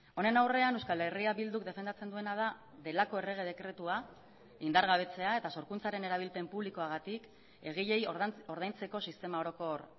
honen aurrean euskal herria bilduk defendatzen duena da delako errege dekretua indargabetzea eta sorkuntzaren erabilpen publikoagatik egileei ordaintzeko sistema orokor